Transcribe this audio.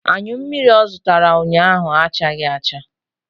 Anyụ mmiri ọ zụtara ụnyaahụ achaghị acha.